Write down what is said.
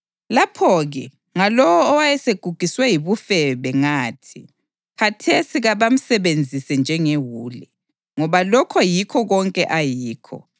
Lapho-ke ngalowo owayesegugiswe yibufebe ngathi, ‘Khathesi kabamsebenzise njengewule, ngoba lokho yikho konke ayikho.’